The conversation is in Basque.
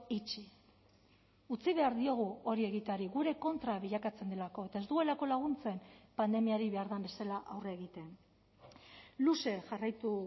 itxi utzi behar diogu hori egiteari gure kontra bilakatzen delako eta ez duelako laguntzen pandemiari behar den bezala aurre egiten luze jarraitu